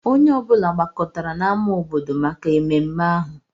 Onye ọ bụla gbakọtara n'ámá obodo maka ememme ahụ